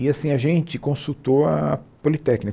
E, assim, a gente consultou a Politécnica.